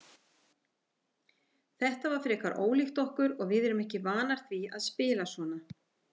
Þetta var frekar ólíkt okkur og við erum ekki vanar því að spila svona.